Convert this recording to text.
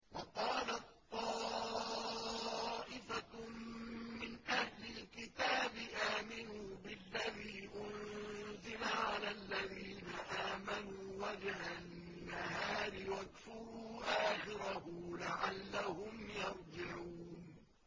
وَقَالَت طَّائِفَةٌ مِّنْ أَهْلِ الْكِتَابِ آمِنُوا بِالَّذِي أُنزِلَ عَلَى الَّذِينَ آمَنُوا وَجْهَ النَّهَارِ وَاكْفُرُوا آخِرَهُ لَعَلَّهُمْ يَرْجِعُونَ